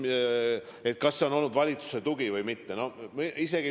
Kas nende näol on olnud valitsuse tugi või mitte?